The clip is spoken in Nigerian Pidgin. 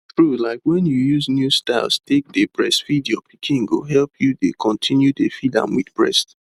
true like when you use new styles take dey breastfeed your pikin go help you dey continue dey feed am with breast